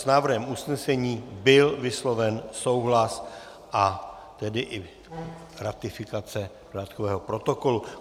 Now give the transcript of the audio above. S návrhem usnesení byl vysloven souhlas, a tedy i ratifikace dodatkového protokolu.